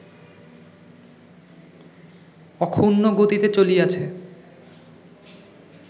অক্ষুণ্ণ গতিতে চলিয়াছে